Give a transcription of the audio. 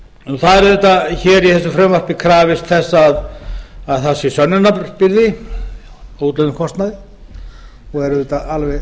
í þessu frumvarpi er þess auðvitað krafist að það sé sönnunarbyrði fyrir útlögðum kostnaði og er auðvitað alveg